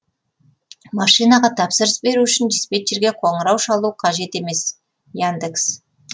машинаға тапсырыс беру үшін диспетчерге қоңырау шалу қажет емес яндекс